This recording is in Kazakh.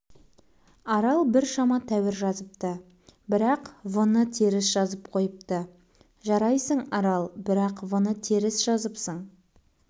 арал да біршама тәуір жазыпты бірақ вны теріс жазып қойыпты жарайсың арал бірақ вны теріс жазыпсың